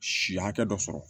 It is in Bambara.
Si hakɛ dɔ sɔrɔ